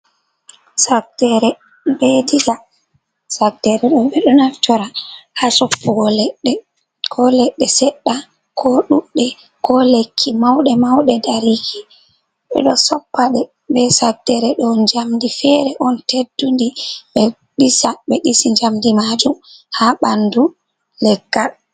Saddere be diga, saddere ɓeɗo naftira ha soppugo ledde seɗɗa ko ɗuɗɗe, ko lekki mauɗe mauɗe dariki, ɓeɗo soppa ɗe be saddere ɗo njamdi fere on teddundi be ɗisa ɓe disi njamdi majum ha ɓandu.